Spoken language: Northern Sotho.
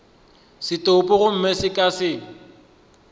setopo gomme go ka se